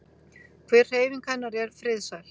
Hver hreyfing hennar er friðsæl.